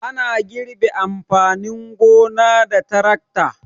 Ana girbe amfanin gona da tarakta.